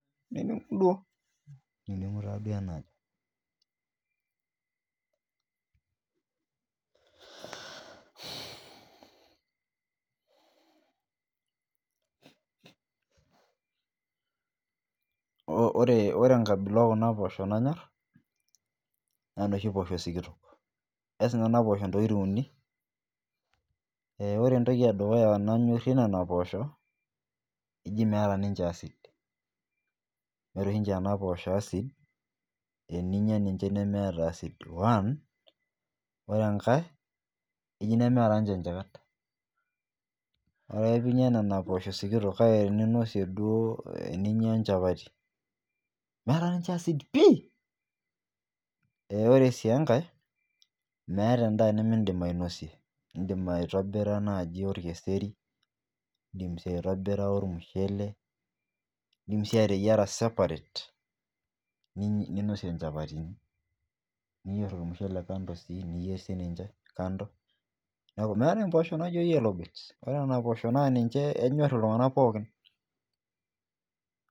Niningu taaduo enajo ore kabilacs] ekuna poshok nanyor naa noshi sikitok eas Nena pesho ntokitin uni ore entoki eduya nanyorie nena posho eji meeta ninje acid meeta oshi ninje neena poshok acid]teninyia ninje nemeeta one ore enkae nemeeta ninje nchikat orepinyia Nena poshok sikitok kake teninosie duo teninyia chapati meeta ninje acid pii ore sii enkae meeta endaa nimidim ainosie edim aitobira naaji githeri edim sii aitobira Michele edim sii ateyiara separate ninosie chapati niyier sii Michele kando niyier sininje kando meetae mboshok naaijio yellow beans naa ninje enyor iltung'ana pookin